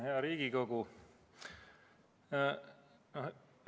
Hea Riigikogu!